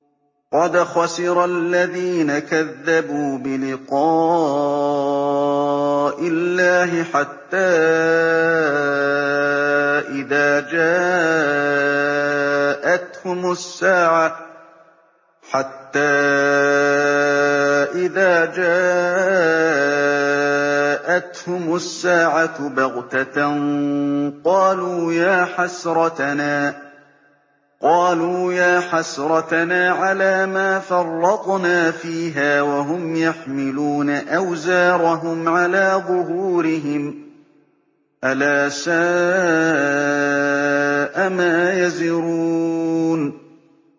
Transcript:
قَدْ خَسِرَ الَّذِينَ كَذَّبُوا بِلِقَاءِ اللَّهِ ۖ حَتَّىٰ إِذَا جَاءَتْهُمُ السَّاعَةُ بَغْتَةً قَالُوا يَا حَسْرَتَنَا عَلَىٰ مَا فَرَّطْنَا فِيهَا وَهُمْ يَحْمِلُونَ أَوْزَارَهُمْ عَلَىٰ ظُهُورِهِمْ ۚ أَلَا سَاءَ مَا يَزِرُونَ